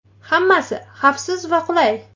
Hammasi xavfsiz va qulay.